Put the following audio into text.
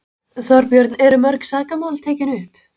Þorbjörn: Eru mörg sakamál tekin upp?